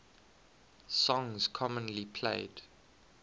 songs commonly played